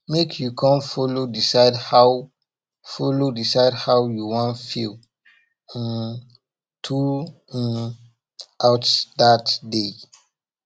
mek you con follow decide how follow decide how yu wan feel um thru um out dat day